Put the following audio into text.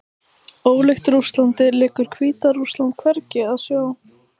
Ólíkt Rússlandi liggur Hvíta-Rússland hvergi að sjó.